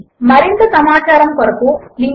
0924 మరింత సమాచారము కొరకు httpspoken tutorialorgNMEICT Intro